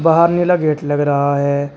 बाहर नीला गेट लग रहा है।